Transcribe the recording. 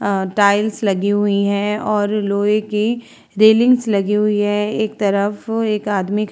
अ tiles लगी हुई हैं और लोहे की रेलिंग्स लगी हुई है। एक तरफ एक आदमी ख --